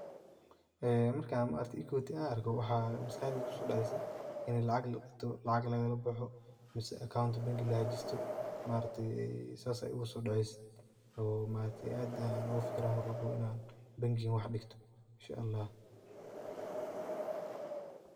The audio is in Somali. Markan equity arko waxaa maskaxdeyda kuso dacesaa lacag kalabaxo mise mel digto oo accountka lahajisto, aad ayan oga fikiriyaa inan mar walbo wax digto.